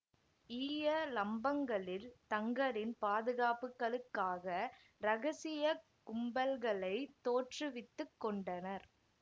ஈய லம்பங்களில் தங்களின் பாதுகாப்புகளுக்காக இரகசிய கும்பல்களைத் தோற்றுவித்து கொண்டனர்